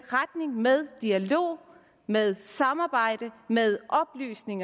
retningen med dialog med samarbejde med oplysning